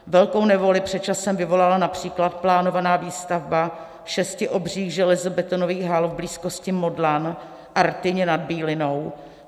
Velkou nevoli před časem vyvolala například plánovaná výstavba šesti obřích železobetonových hal v blízkosti Modlan a Rtyně nad Bílinou.